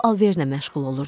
O alverlə məşğul olurdu.